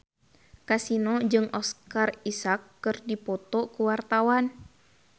Kasino jeung Oscar Isaac keur dipoto ku wartawan